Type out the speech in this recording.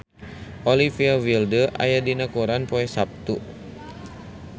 Olivia Wilde aya dina koran poe Saptu